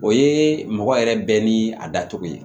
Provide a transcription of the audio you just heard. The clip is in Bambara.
O ye mɔgɔ yɛrɛ bɛɛ ni a dacogo ye